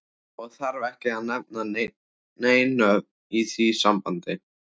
Og þarf ekki að nefna nein nöfn í því sambandi.